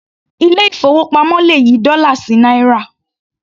Ilé ìfowópamọ́ le yí dọ́là sí náírà.